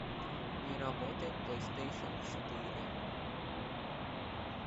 не работает плейстейшен четыре